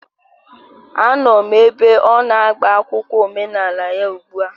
Anọ m ebe ọ na-agba akwụkwọ omenala ya ugbu a